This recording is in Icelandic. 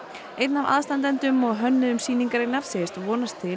einn af aðstandendum og hönnuðum sýningarinnar segir vonast til